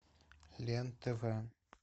лен тв